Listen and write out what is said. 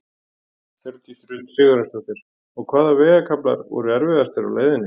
Hjördís Rut Sigurjónsdóttir: Og hvaða vegakaflar voru erfiðastir á leiðinni?